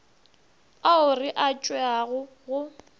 ao re a tšeago go